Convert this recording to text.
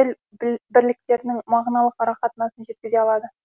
тіл бірліктерінің мағыналық ара қатынасын жеткізе алады